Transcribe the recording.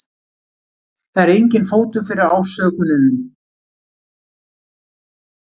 Það er enginn fótur fyrir ásökununum